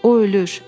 O ölür!